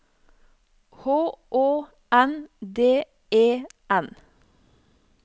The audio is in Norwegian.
H Å N D E N